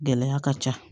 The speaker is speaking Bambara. Gɛlɛya ka ca